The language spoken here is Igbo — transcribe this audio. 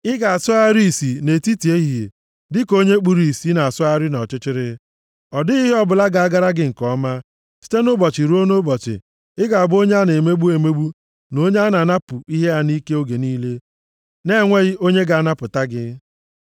Ị ga-asọgharị isi nʼetiti ehihie dịka onye kpuru ìsì nʼasọgharị nʼọchịchịrị. Ọ dịghị ihe ọbụla ga-agara gị nke ọma. Site nʼụbọchị ruo nʼụbọchị, ị ga-abụ onye a na-emegbu emegbu, na onye a na-anapụ ihe ya nʼike oge niile, na-enweghị onye ga-anapụta gị.